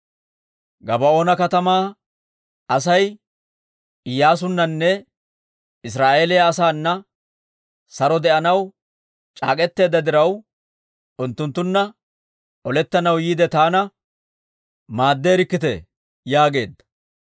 «Gabaa'oona katamaa Asay Iyyaasunnanne Israa'eeliyaa asaana saro de'anaw c'aak'k'eteedda diraw, unttunttunna olettanaw yiide taana maaddeerikkitee» yaageedda.